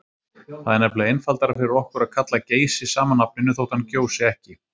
Það er nefnilega einfaldara fyrir okkur að kalla Geysi sama nafninu þótt hann gjósi ekki.